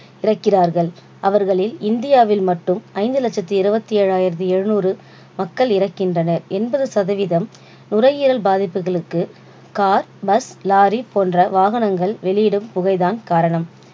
இறக்கிறார்கள். அவர்களில் இந்தியாவில் மட்டும் ஐந்து லட்சத்து இருபத்து ஏழாயிரத்தி எழுநூறு மக்கள் இறக்கின்றனர். எண்பது சதவீதம் நுரையீரல் பாதிப்புகளுக்கு கார், பஸ், லாரி போன்ற வாகனங்கள் வெளியிடும் புகை தான் காரணம்